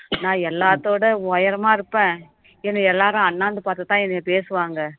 நான் எல்லாத்தோட உயரமா இருப்பேன் என்னை எல்லாரும் அண்ணாந்து பார்த்துதான் என்னைய பேசுவாங்க